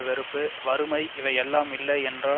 வெறுப்பு வறுமை இவை எல்லாம் இல்லை என்றால்